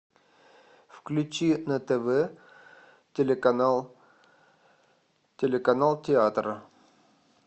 включи на тв телеканал телеканал театра